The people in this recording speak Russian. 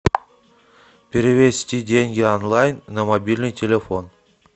перевести деньги онлайн на мобильный телефон